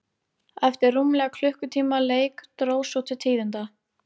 Eftir rúmlega klukkutíma leik dró svo til tíðinda.